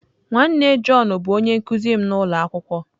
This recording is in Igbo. Nwanne John bụ onye nkụzi m n'ụlọ akwụkwọ.